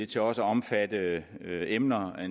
til også at omfatte